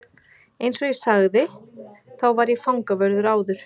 Eins og ég sagði þá var ég fangavörður áður.